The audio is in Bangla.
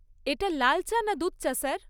এটা লাল চা না দুধ চা, স্যার?